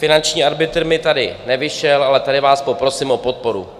Finanční arbitr mi tady nevyšel, ale tady vás poprosím o podporu.